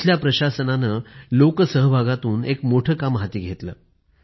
तिथल्या प्रशासनाने लोकसहभागातून एक मोठं काम हाती घेतलं